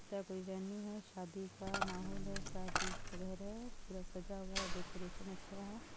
Venue है| शादी का माहौल है| शादी का घर है| पूरा सजा हुआ है| डेकोरेशन अच्छा है।